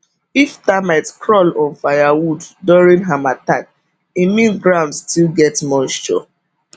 if termite crawl on firewood during harmattan e mean ground still get moisture